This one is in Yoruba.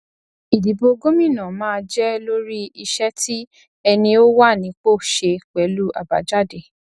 ìdìbò gómìnà máa jẹ lórí iṣẹ tí ẹni ó wà nípò ṣe pẹlú àbájáde